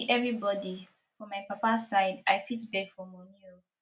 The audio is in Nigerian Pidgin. no be every body for my papa side i fit beg for money oo